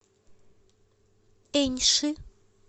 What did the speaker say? эньши